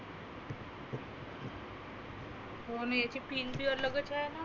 हो ना यच pin अलगच आहेना.